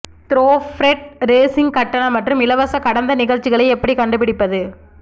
த்ரோஃப்ரெட் racing கட்டண மற்றும் இலவச கடந்த நிகழ்ச்சிகளை எப்படி கண்டுபிடிப்பது